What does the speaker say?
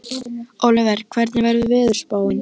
Ólíver, hvernig er veðurspáin?